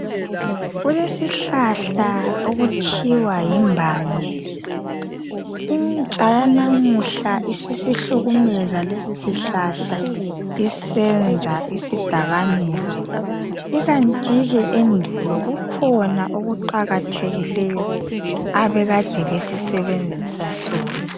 Kulesihlahla okuthiwa yimbanje. Intsha yanamuhla isisihlukumeza lesihlahla isenza isidakamizwa. ikanti ke endulo kukhona okuqakathekileyo ababekade besisebenzisa sona.